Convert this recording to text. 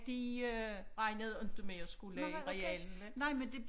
De øh regnede inte med at skulle i realen vel